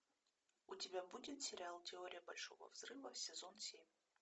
у тебя будет сериал теория большого взрыва сезон семь